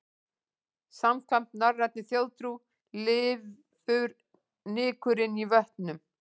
Samkvæmt norrænni þjóðtrú lifur nykurinn í vötnum.